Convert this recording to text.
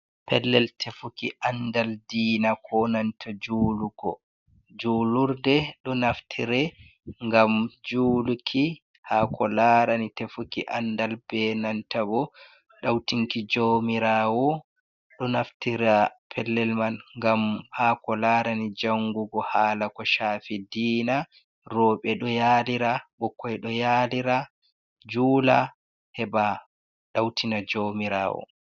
Pellel tefuki andal diina ko nanta julugo. Julurde ɗo naftire ngam juluki hako larani tefuki andal be nanta bo ɗautinki joumirawo ɗo naftira pellel man ngam ha ko larani jangugo hala ko shafi diina. Roɓe ɗo yalira, ɓikkoi ɗou yalira jula heɓa ɗautina joumirawo.